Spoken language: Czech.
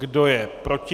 Kdo je proti?